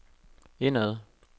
indad